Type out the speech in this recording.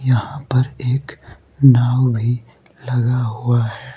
यहां पर एक नाव भी लगा हुआ है।